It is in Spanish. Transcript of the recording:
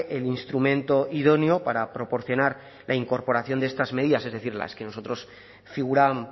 en un instrumento idóneo para proporcionar la incorporación de estas medidas es decir